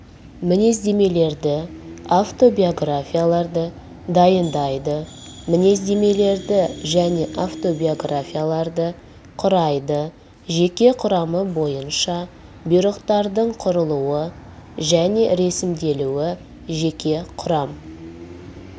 мінездемелерді автобиографияларды дайындайды мінездемелерді және автобиографияларды құрайды жеке құрам бойынша бұйрықтардың құрылуы және ресімделуі жеке құрам